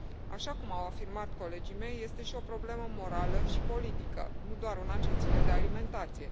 Așa cum au afirmat colegii mei este și o problemă morală și politică, nu doar una ce ține de alimentație.